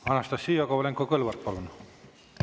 Anastassia Kovalenko-Kõlvart, palun!